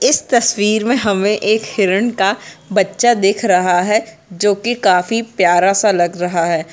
इस तस्वीर मे हमे एक हिरन का बच्चा दिख रहा है जो की काफी प्यारा सा लग रहा है।